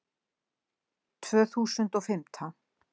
Tvö þúsund og fimmtán